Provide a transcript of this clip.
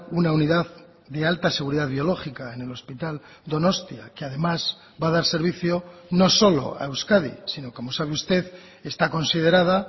una unidad de alta seguridad biológica en el hospital donostia que además va a dar servicio no solo a euskadi sino como sabe usted está considerada